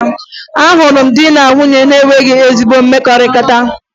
Ahụrụ m di na nwunye na-enweghi ezi mmekọrịta